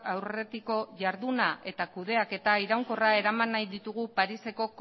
aurretiko jarduna eta kudeaketa iraunkorra eraman nahi ditugu pariseko